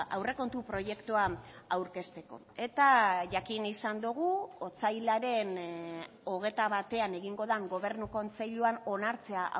aurrekontu proiektuan aurkezteko eta jakin izan dugu otsailaren hogeita batean egingo den gobernu kontseiluan onartzea